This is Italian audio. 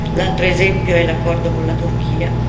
l'altro esempio è l'accordo con la Turchia.